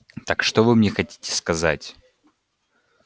так что вы мне хотите сказать